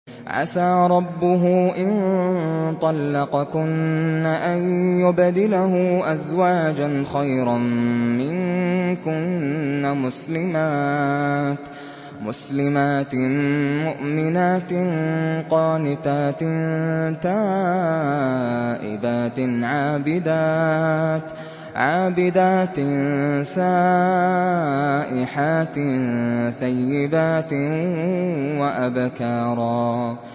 عَسَىٰ رَبُّهُ إِن طَلَّقَكُنَّ أَن يُبْدِلَهُ أَزْوَاجًا خَيْرًا مِّنكُنَّ مُسْلِمَاتٍ مُّؤْمِنَاتٍ قَانِتَاتٍ تَائِبَاتٍ عَابِدَاتٍ سَائِحَاتٍ ثَيِّبَاتٍ وَأَبْكَارًا